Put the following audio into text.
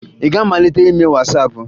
Ị ga-amalite ime Wasaapụ?